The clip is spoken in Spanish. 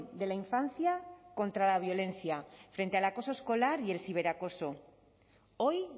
de la infancia contra la violencia frente al acoso escolar y el ciberacoso hoy